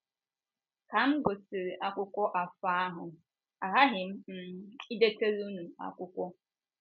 “ Ka m gụsịrị akwụkwọ afọ ahụ, aghaghị m um idetara unu akwụkwọ.